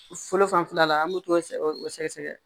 Fɔlɔ fanfɛla la an bɛ t'o sɛ o sɛgɛsɛgɛ